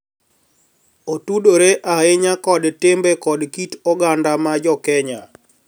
Otudore ahinya kod timbe kod kit oganda ma Jo Kenya.